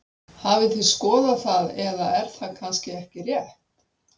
Hafið þið skoðað það eða er það kannski ekki rétt?